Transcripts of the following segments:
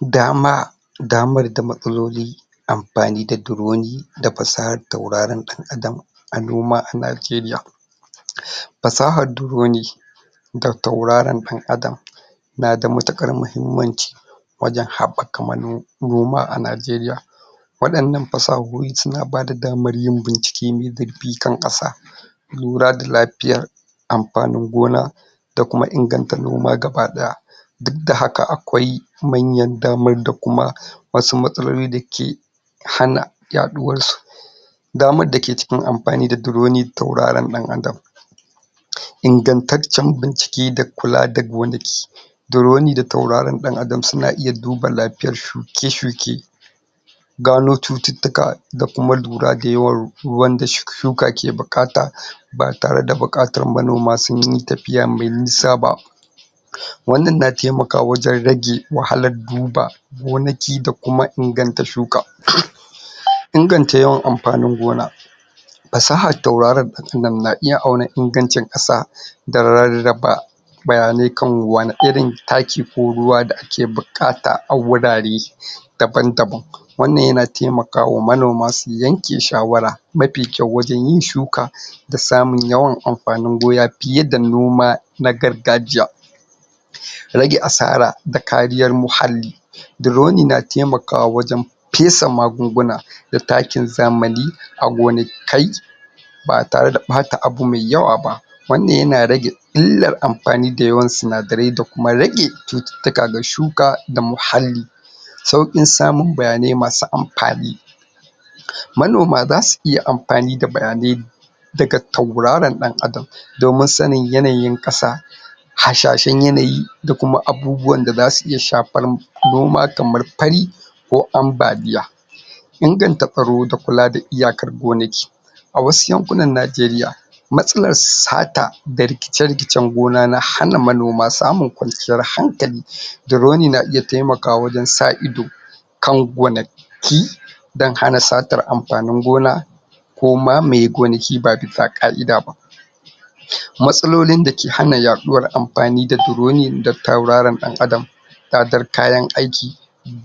Dama damar da matsaloli amfani da duroni da fasahar taurarin ɗan adam a noma a Nigeria Fasahar duroni da taurarin ɗan adam na da matuƙar mahimmanci wajen haɓɓaka mano noma a Nigeria waɗannan fasahohi su na ba da damar yin bincike mai zurfi kan ƙasa lura da lafiya, amfanin gona da kuma inganta noma baki ɗaya. Duk da haka akwai manyan damar da kuma wasu matsaloli da ke hana yaɗuwarsu. Damar da ke cikin amfani da duroni da tautarin ɗan adam Ingantaccen bincike da kula da gonaki. Duroni da taurarin ɗan adam su na iya duba lafiyar shuke-shuke, gano cututtuka da kuma lura da yawan ruwan da shuka ke buƙata ba tare da buƙatar manoma sun yi tafiya mai nisa ba, wannan na taimakawa wajen rage wahalar duba gonaki da kuma inganta shuka. Inganta yawan amfanin gona. Fasahar tauraron ɗan adam na iya auna ingancin ƙasa da rarraba bayanai akan wane irin taki ko ruwa da ake buƙata a wurare daban-daban, wannan ya na taimakawa manoma su yanke shawara mafi kyau wajen yin shuka da samun amfanin gona fiye da noma na gargajiya, rage asara da kariyar muhalli, duroni na taimakawa wajen fesa magunguna da takin zamani a gonakai ba tare da ɓata abu mai yawa ba, wannan ya na rage illar amfani da yawan sinadarai da kuma rage cututttuka da shuka da muhalli, sauƙin samun bayanai ma su amfani, manoma za su iya amfani da bayanai daga tauraron ɗan adam domin sanin yanayin ƙasa, hasashen yanayi da kuma abubuwan da za su iya shafar ma noma, kamar: fari ko ambaliya. Inganta tsaro da kuma kula da iyakar gonaki. A wasu yankunan Nigeria matsalar sata da rikice-rikicen gona na hana manoma samun kwanciyar hankali, duroni na iya taimakawa wajen sa ido kan gona ki don hana satar amfani gona koma mai gonaki ba bisa ƙa'ida ba. Matsalolin da ke hana yaɗuwar amfani da duroni da tauraron ɗan adam, tsadar kayan aiki,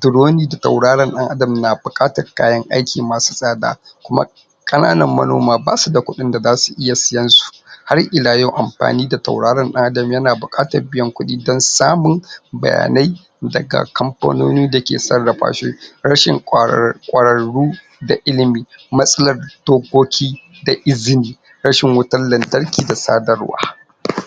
duroni da tauraron ɗan adam na buƙar kayan aiki masu tsada kuma ƙananan manoma ba su da kuɗin da za su iya sayen su har ila yau amfani da tauraron ɗan adam na buƙatar biyan kuɗi don samun bayanai daga kamfanoni da ke sarrafa shi, rashin ƙwarar ƙwararru da ilimi matsalar dokoki da izini, rashin wutar lantarki da sadarwa.?